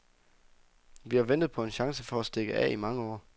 Vi har ventet på en chance for at stikke af i mange år.